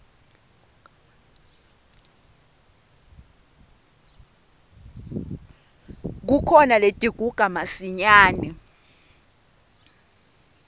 kukhona letiguga masinyane